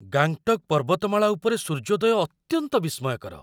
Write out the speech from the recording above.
ଗାଙ୍ଗଟକ୍ ପର୍ବତମାଳା ଉପରେ ସୂର୍ଯ୍ୟୋଦୟ ଅତ୍ୟନ୍ତ ବିସ୍ମୟକର।